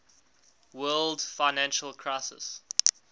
world financial crisis